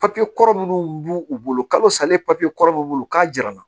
Papiye kɔrɔ minnu b'u u bolo kalo salen papiye kɔrɔ min b'u bolo k'a jirana